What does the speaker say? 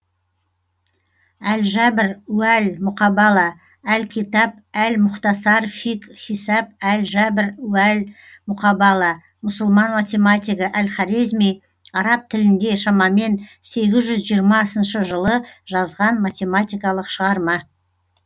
әл жәбр уә л мұқабала әл китаб әл мұхтасар фи хисәб әл жәбр уә л мұқабала мұсылман математигі әл хорезми араб тілінде шамамен сегіз жүз жиырмасыншы жылы жазған математикалық шығарма